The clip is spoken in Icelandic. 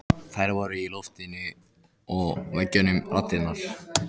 Þær eru í loftinu og veggjunum raddirnar.